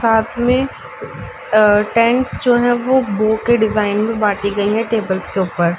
साथ में अ टेंट्स जो हैं वो बो के डिजाइन में बाँटी गयी हैं टेबल्स के ऊपर।